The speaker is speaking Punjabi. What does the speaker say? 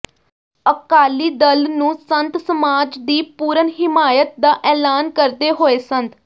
ਅਕਾਲੀ ਦਲ ਨੂੰ ਸੰਤ ਸਮਾਜ ਦੀ ਪੂਰਨ ਹਿਮਾਇਤ ਦਾ ਐਲਾਨ ਕਰਦੇ ਹੋਏ ਸੰਤ